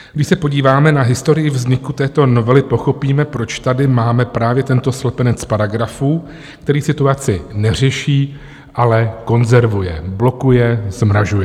Když se podíváme na historii vzniku této novely, pochopíme, proč tady máme právě tento slepenec paragrafů, který situaci neřeší, ale konzervuje, blokuje, zmrazuje.